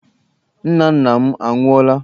Nna nna m anwụọla.